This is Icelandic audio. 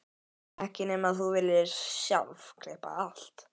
Ekki nema þú viljir sjálf klippa á allt.